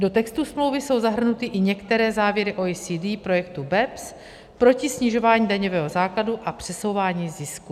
Do textu smlouvy jsou zahrnuty i některé závěry OECD, projektu BEPS proti snižování daňového základu a přesouvání zisků.